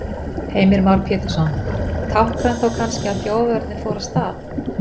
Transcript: Heimir Már Pétursson: Táknrænt þá kannski að þjófavörnin fór af stað?